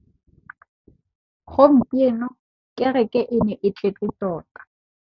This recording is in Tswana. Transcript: Gompieno kêrêkê e ne e tletse tota.